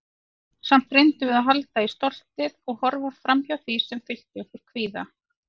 Samt reyndum við að halda í stoltið- og horfa framhjá því sem fyllti okkur kvíða.